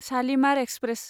Shalimar express